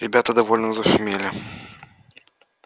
ребята довольно зашумели